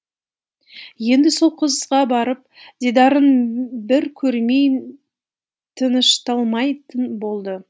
енді сол қызға барып дидарын бір көрмей тынышталмайтын болды